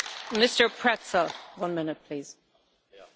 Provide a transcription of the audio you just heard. Frau Präsidentin, meine sehr geehrten Damen und Herren!